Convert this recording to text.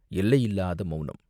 எல்லையில்லாத மௌனம்!